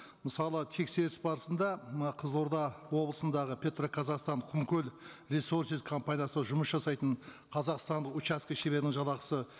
мысалы тексеріс барысында мына қызылорда облысындағы петроказахстан құмкөл ресорсиз компаниясы жұмыс жасайтын қазақстандық учаске шеберінің жалақысы